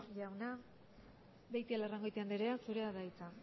jauna beitialarrangoitia andrea zurea da hitza